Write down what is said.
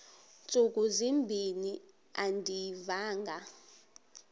ntsuku zimbin andiyivanga